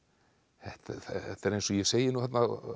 þetta er eins og ég segi þarna